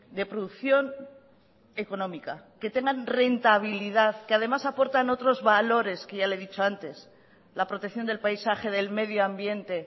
de producción económica que tengan rentabilidad que además aportan otros valores que ya le he dicho antes la protección del paisaje del medio ambiente